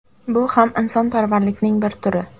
Bu ham insonparvarlikning bir turi.